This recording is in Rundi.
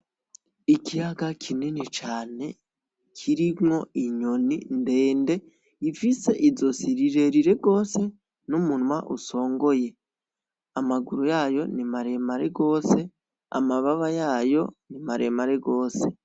Ikiyaga kinini cane kirimwo inyoni ndende ifise izosi rirerire gose; n'umunwa usongoye; amaguru yayo ni maremare gose; amababa yayo ni maremare gose.